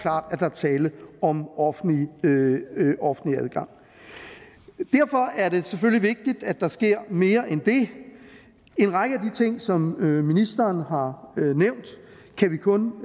at der er tale om offentlig offentlig adgang derfor er det selvfølgelig vigtigt at der sker mere end det en række af de ting som ministeren har nævnt kan vi kun